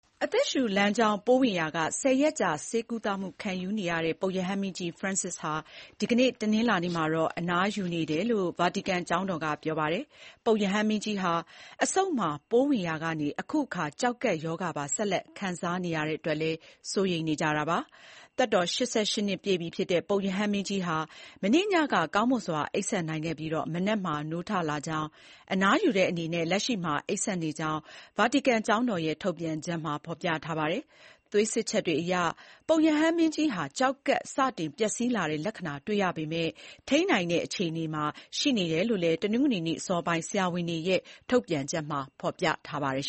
အသက်ရှူလမ်းကြောင်း ပိုးဝင်ရာက ၁၀ ရက်ကြာ ဆေးကုသမှုခံယူနေရတဲ့ ပုပ်ရဟန်းမင်းကြီး Francis ဟာ ဒီကနေ့ တနင်္လာနေ့မှာ အနားယူနေတယ်လို့ ဗာတီကန်ကျောင်းတော်က ပြောပါတယ်။ ပုပ်ရဟန်းမင်းကြီးဟာ အဆုပ်မှာ ပိုးဝင်ရာကနေ အခုအခါ ကျောက်ကပ်ရောဂါပါ ဆက်လက် ခံစားနေရတဲ့အတွက်လည်း စိုးရိမ်နေကြတာပါ။ သက်တော် ၈၈ နှစ်ရှိပြီဖြစ်တဲ့ ပုပ်ရဟန်းမင်းကြီးဟာ မနေ့ညက ကောင်းမွန်စွာအိပ်စက်နိုင်ခဲ့ပြီး မနက်မှာ နိုးထလာကြောင်း အနားယူတဲ့အနေနဲ့ လက်ရှိမှာအိပ်စက်နေကြောင်း ဗာတီကန်ကျောင်းတော်ရဲ့ ထုတ်ပြန်ချက်မှာ ဖော်ပြထားပါတယ်။ သွေးစစ်ချက်တွေအရ ပုပ်ရဟန်းမင်းကြီးမှာ ကျောက်ကပ်စတင်ပျက်စီးတဲ့ လက္ခဏာတွေ့ရပေမဲ့ ထိန်းနိုင်တဲ့ အခြေအနေမှာရှိတယ်လို့လည်း တနင်္ဂနွေနေ့အစောပိုင်း ဆရာဝန်တွေရဲ့ ထုတ်ပြန်ချက်မှာ ဖော်ပြခဲ့ပါတယ်